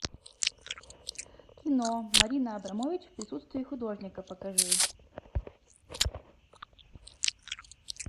кино марина абрамович в присутствии художника покажи